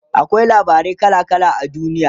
akwai labarai kala kala a duniya